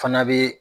Fana bɛ